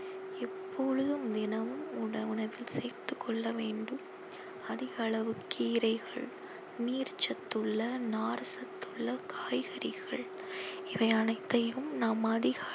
எப்பொழுதும் தினமும் உண~ உணவில் சேர்த்து கொள்ள வேண்டும் அதிக அளவு கீரைகள் நீர் சத்துள்ள நார் சத்துள்ள காய்கறிகள் இவை அனைத்தையும் நாம் அதிக